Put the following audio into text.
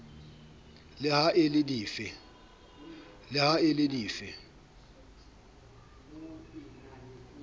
le ha e le dife